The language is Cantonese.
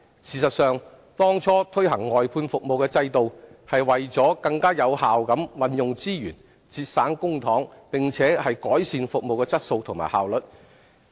事實上，當初推行外判服務制度是為了更有效地運用資源，節省公帑並改善服務質素和效率。